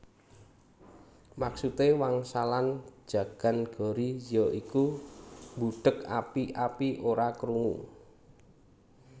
Maksude wangsalan njagan gori ya iku mbudheg api api ora krungu